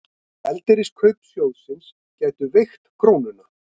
Gjaldeyriskaup sjóðsins gætu veikt krónuna